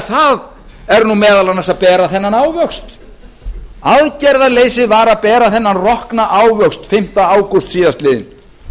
það er meðal annars að bera þennan ávöxt aðgerðaleysið var að bera þennan rokna ávöxt fimmta ágúst síðastliðinn